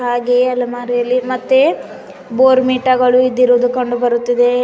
ಹಾಗೆ ಅಲಮಾರಿಯಲ್ಲಿ ಮತ್ತೆ ಬೋರ್ನ್ವಿಟಾ ಗಳು ಇಟ್ಟಿರೋದು ಕಂಡು ಬರುತ್ತದೆ.